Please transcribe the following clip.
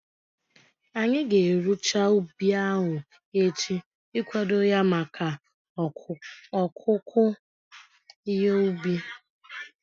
Anyị ga-erucha ubi ahu echi ikwado ya maka ọkụku ihe ubi